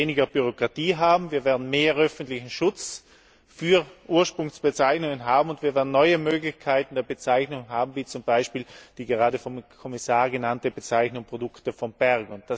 Wir werden weniger Bürokratie haben, wir werden mehr öffentlichen Schutz für Ursprungsbezeichnungen haben und wir werden neue Möglichkeiten der Bezeichnung haben, wie zum Beispiel die gerade vom Kommissar genannte Bezeichnung Produkte vom Berg.